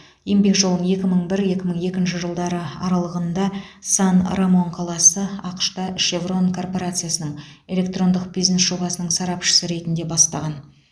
еңбек жолын екі мың бір екі мың екінші жылдары аралығында сан рамон қаласы ақш та шеврон корпорациясының электрондық бизнес жобасының сарапшысы ретінде бастаған